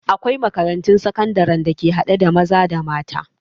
Akwai makarantun sakandare da ke haɗe da maza da mata